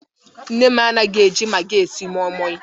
Nne m anaghi eji magi esi moimoi